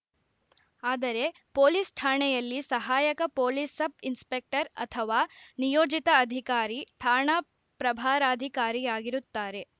ಆದರೆ ಪೊಲೀಸ್‌ ಠಾಣೆಯಲ್ಲಿ ಸಹಾಯಕ ಪೊಲೀಸ್‌ ಸಬ್‌ ಇನ್ಸ್‌ಪೆಕ್ಟರ್‌ ಅಥವಾ ನಿಯೋಜಿತ ಅಧಿಕಾರಿ ಠಾಣಾ ಪ್ರಭಾರಾಧಿಕಾರಿಯಾಗಿರುತ್ತಾರೆ